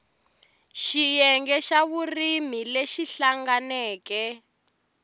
xiyenge xa vurimi lexi hlanganeke